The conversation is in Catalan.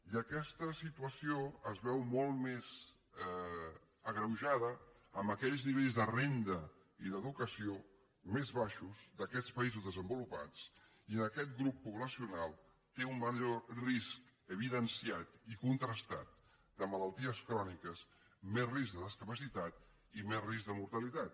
i aquesta situació es veu molt més agreujada amb aquells nivells de renda i d’educació més baixos d’aquests països desenvolupats i on aquest grup poblacional té un major risc evidenciat i contrastat de malalties cròniques més risc de discapacitat i més risc de mortalitat